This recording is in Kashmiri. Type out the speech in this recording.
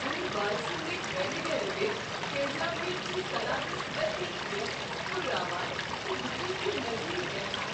امہ بالسمک وینیگریٹٕچ تیزابیت چھ سلادس لطیف گرٛکھ ہرراوان تہٕ بہٕ چھس یہِ مٔزید یژھان۔